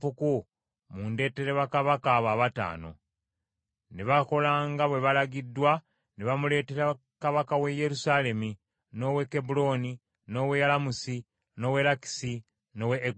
Ne bakola nga bwalagidde ne bamuleetera kabaka w’e Yerusaalemi, n’ow’e Kebbulooni, n’ow’e Yalamusi, n’ow’e Lakisi n’ow’e Eguloni.